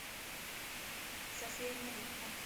софия новикова